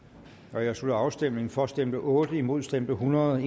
jeg slutter afstemningen for stemte otte imod stemte hundrede